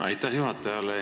Aitäh juhatajale!